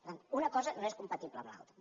per tant una cosa no és compatible amb l’altra